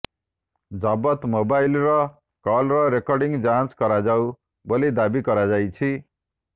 ଜବତ ମୋବାଇଲର call recording ଯାଞ୍ଚ କରାଯାଉ ବୋଲି ଦାବି କରାଯାଇଛି